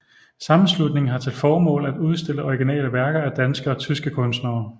Sammenslutningen har til formål at udstille originale værker af danske og tyske kunstnere